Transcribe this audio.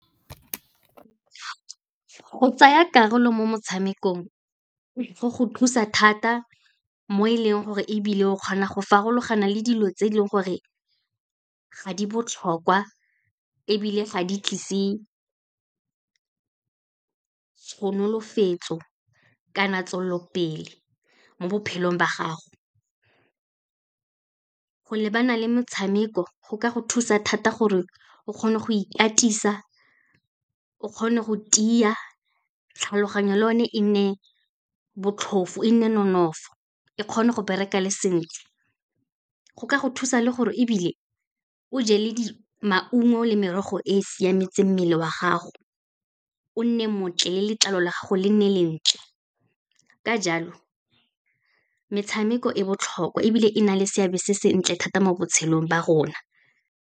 Go tsaya karolo mo motshamekong, go go thusa thata mo e leng gore ebile o kgona go farologana le dilo tse e leng gore ga di botlhokwa, ebile ga di tlise tshonolofetso kana tswelelopele mo bophelong ba gago. Go lebana le motshameko, go ka go thusa thata gore o kgone go ikatisa, o kgone go tiya, tlhaloganyo le one e nne botlhofo, e nne nonofo, e kgone go bereka le sentle. Go ka go thusa le gore ebile, o je le maungo le merogo e siametseng mmele wa gago, o nne montle le letlalo la gago le nne lentle. Ka jalo, metshameko e botlhokwa ebile e na le seabe se sentle thata mo botshelong ba rona.